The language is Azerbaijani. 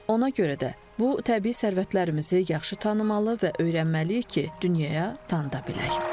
Ona görə də bu təbii sərvətlərimizi yaxşı tanımalı və öyrənməliyik ki, dünyaya tanıdaq bilək.